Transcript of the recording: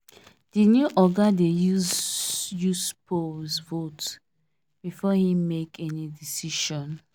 the new oga dey use use polls vote before he make any decision